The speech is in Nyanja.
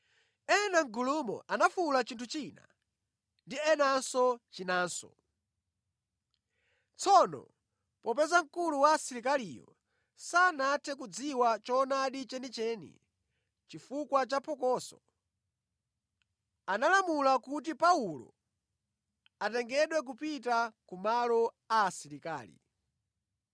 Ena mʼgulumo anafuwula chinthu china ndi enanso chinanso. Tsono popeza mkulu wa asilikaliyo sanathe kudziwa choonadi chenicheni chifukwa cha phokoso, analamula kuti Paulo atengedwe kupita ku malo a asilikali.